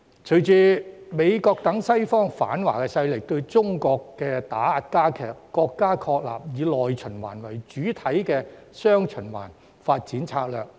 隨着美國等西方反華勢力對中國的打壓加劇，國家確立以內循環為主體的雙循環發展策略。